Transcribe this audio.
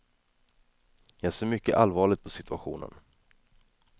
Jag ser mycket allvarligt på situationen.